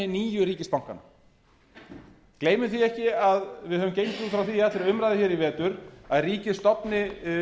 nýju ríkisbankanna gleymum því ekki að við höfum gengið út frá því í allri umræðu hér í vetur að ríkið stofni